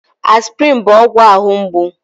Aspịrịn bụ ọgwụ ahụ mgbu.